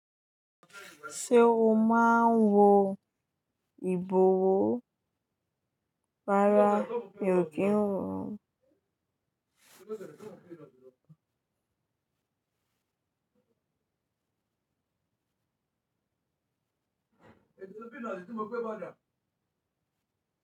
Ṣé o máa ń wo ìbòwó? Rárá mi ò kí ń wọ.